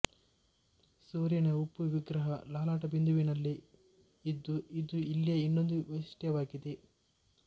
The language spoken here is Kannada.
ಸೂರ್ಯನ ಉಬ್ಬು ವಿಗ್ರಹ ಲಲಾಟಬಿಂದುವಿನಲ್ಲಿ ಇದ್ದು ಇದು ಇಲ್ಲಿಯ ಇನ್ನೊಂದು ವೈಶಿಷ್ಟ್ಯವಾಗಿದೆ